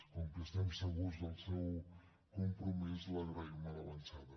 com que estem segurs del seu compromís l’agraïm a l’avançada